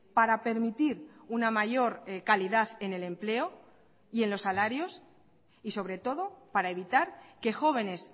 para permitir una mayor calidad en el empleo y en los salarios y sobre todo para evitar que jóvenes